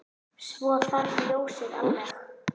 Svo hvarf ljósið alveg.